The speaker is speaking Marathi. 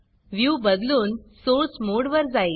व्ह्यू बदलून सोर्स मोडवर जाईल